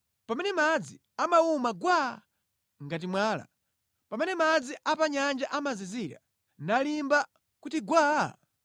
pamene madzi amawuma gwaa ngati mwala, pamene madzi a pa nyanja amazizira, nalimba kuti gwaa?